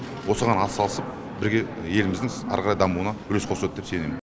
осыған атсалысып бірге еліміздің әрі қарай дамуына үлес қосады деп сенемін